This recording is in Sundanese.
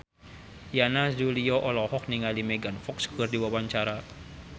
Yana Julio olohok ningali Megan Fox keur diwawancara